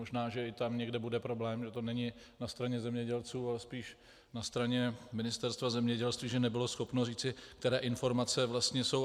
Možná že i tam někde bude problém, že to není na straně zemědělců, ale spíš na straně Ministerstva zemědělství, že nebylo schopno říci, které informace vlastně jsou.